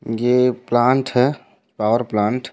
ये प्लांट ह power plant --